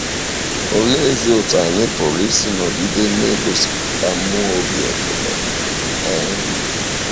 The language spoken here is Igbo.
Oleezi otú anyị pụrụ isi nọgide na-egosipụta mmụọ obi ekele? um